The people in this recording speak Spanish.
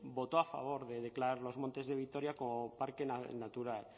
votó a favor de declarar los montes de vitoria como parque natural